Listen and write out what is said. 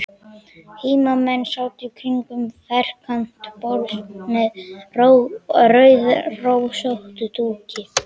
Heimamenn sátu kringum ferkantað borð með rauðrósóttum dúki.